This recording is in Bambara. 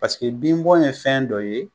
Paseke bin bɔn ye fɛn dɔ ye